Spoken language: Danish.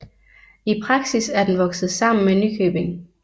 I praksis er den vokset sammen med Nykøbing